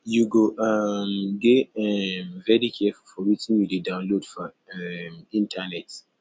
you go um dey um very careful for wetin you dey download for um internet